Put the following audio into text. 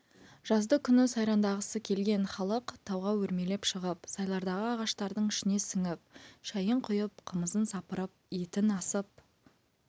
жазды күні сайрандағысы келген халық тауға өрмелеп шығып сайлардағы ағаштардың ішіне сіңіп шайын құйып қымызын сапырып етін асып